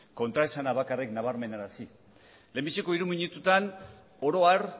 kontraesana bakarrik nabarmenarazi lehenbiziko hiru minututan oro har